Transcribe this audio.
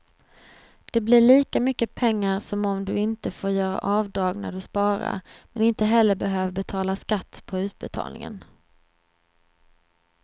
Det blir lika mycket pengar som om du inte får göra avdrag när du sparar, men inte heller behöver betala skatt på utbetalningen.